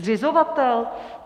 Zřizovatel?